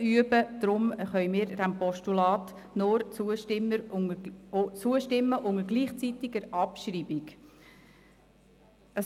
Deshalb können wir diesem Postulat nur unter gleichzeitiger Abschreibung zustimmen.